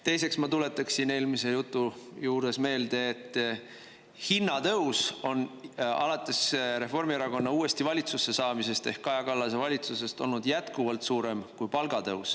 Teiseks ma tuletaksin eelmise jutu juures meelde, et hinnatõus on alates Reformierakonna uuesti valitsusse saamisest ehk Kaja Kallase valitsusest olnud jätkuvalt suurem kui palgatõus.